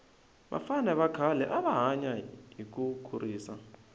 vafana khale ava hanya hi kurisa